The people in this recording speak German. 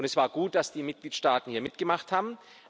Und es war gut, dass die Mitgliedstaaten hier mitgemacht